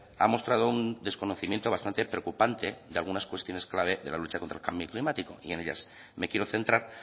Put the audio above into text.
ha mostrado un desconocimiento bastante preocupante de algunas cuestiones clave de la lucha contra el cambio climático y en ellas me quiero centrar